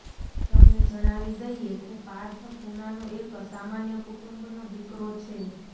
તમને જણાવી દઈએ કે પાર્થ પૂનાનો એક સામાન્ય કુટુંબનો દીકરો છે